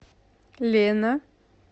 лена